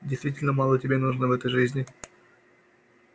действительно мало тебе нужно в этой жизни